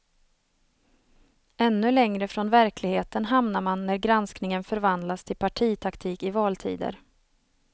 Ännu längre från verkligheten hamnar man när granskningen förvandlas till partitaktik i valtider.